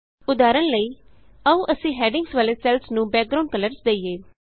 ਉਦਾਹਰਣ ਲਈ ਆਉ ਅਸੀਂ ਹੈਡਿੰਗਸ ਵਾਲੇ ਸੈੱਲਸ ਨੂੰ ਬੈਕਗਰਾਂਉਡ ਕਲਰਸ ਦਈਏ